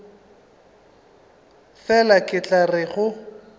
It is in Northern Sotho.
fela ke tla re go